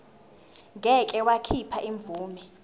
ngeke wakhipha imvume